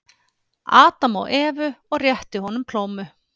Adam og Evu og rétti honum plómu.